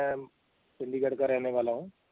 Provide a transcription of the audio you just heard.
ਮੈਂ ਚੰਡੀਗੜ੍ਹ ਕਾ ਰਹਿਣੇ ਵਾਲਾ ਹੂੰ।